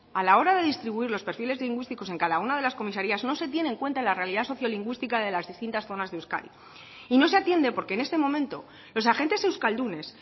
a la hora de distribuir los perfiles lingüísticos en cada una de las comisarias no se tiene en cuenta la realidad sociolingüística de las distintas zonas de euskadi y no se atiende porque en este momento los agentes euskaldunes